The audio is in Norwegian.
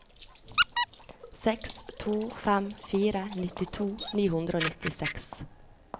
seks to fem fire nittito ni hundre og nittiseks